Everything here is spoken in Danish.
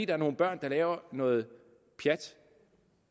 er nogle børn der laver noget pjat